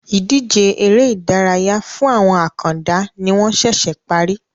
Ìdíje ère ìdárayá fún àwọn àkàndá ni wọn sẹsẹ parí